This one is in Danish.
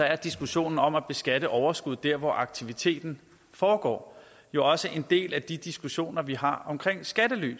er diskussionen om at beskatte overskuddet der hvor aktiviteten foregår jo også en del af de diskussioner vi har om skattely